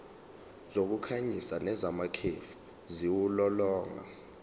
zokukhanyisa nezamakhefu ziwulolonga